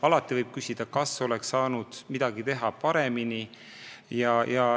Alati võib küsida, kas oleks midagi saanud paremini teha.